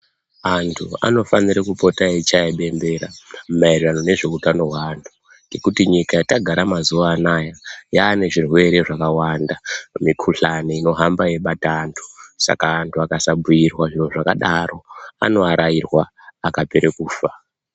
Antu anofanire kupota echiya bembera maererano nezveutano weantu ngekuti nyika yatagara mazuwa anaya yaane zvirwere zvakawanda mikuhlani inohamba yeibata antu saka antu akasabhiirwa zviro zvakadaro anoarairwa akapera kufa.